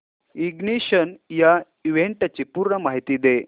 ignition या इव्हेंटची पूर्ण माहिती दे